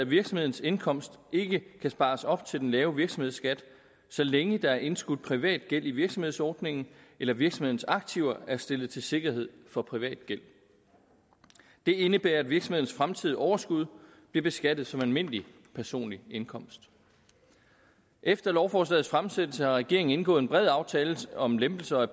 at virksomhedens indkomst ikke kan spares op til den lave virksomhedsskat så længe der er indskudt privat gæld i virksomhedsordningen eller virksomhedens aktiver er stillet til sikkerhed for privat gæld det indebærer at virksomhedens fremtidige overskud bliver beskattet som almindelige personlig indkomst efter lovforslagets fremsættelse har regeringen indgået en bred aftale om lempelser af